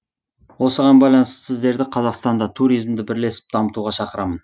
осыған байланысты сіздерді қазақстанда туризмді бірлесіп дамытуға шақырамын